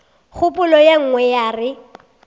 kgopolo ye nngwe ya re